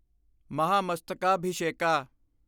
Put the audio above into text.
Mahamastakabhisheka